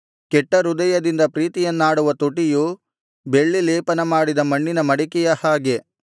ಕೆಟ್ಟ ಹೃದಯದಿಂದ ಪ್ರೀತಿಯನ್ನಾಡುವ ತುಟಿಯು ಬೆಳ್ಳಿ ಲೇಪನ ಮಾಡಿದ ಮಣ್ಣಿನ ಮಡಿಕೆಯ ಹಾಗೆ